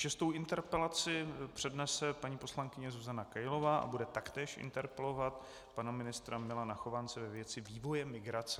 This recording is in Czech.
Šestou interpelaci přednese paní poslankyně Zuzana Kailová a bude taktéž interpelovat pana ministra Milana Chovance ve věci vývoje migrace.